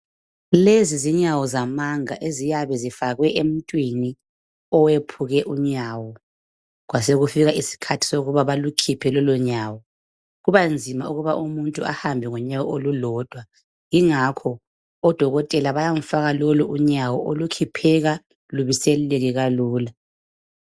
Lezi zinyawo zamanga eziyabe zifakwe emuntwini owepheke unywo kwasokufika isikhathi sokuthi belukhiphe lolunyawo kubanzima ukuthi umuntu ehambe ngonyawo olulodwa yingakho odokotela bayamfaka lolunyawo olukhipheka lubiseleke lula.